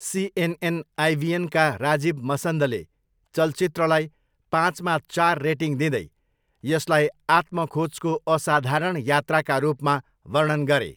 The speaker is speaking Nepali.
सिएनएन आइबिएनका राजीव मसन्दले चलचित्रलाई पाँचमा चार रेटिङ दिँदै यसलाई 'आत्म खोजको असाधारण यात्रा'का रूपमा वर्णन गरे।